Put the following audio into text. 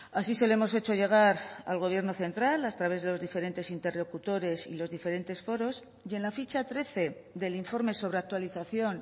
así se lo hemos hecho llegar al gobierno central a través de los diferentes interlocutores y los diferentes foros y en la ficha trece del informe sobre actualización